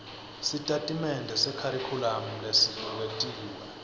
sitatimende sekharikhulamu lesibuketiwe